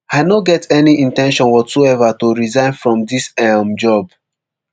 i no get any in ten tion whatsoever to resign from dis um job